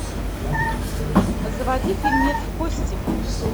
заводи фильмец кости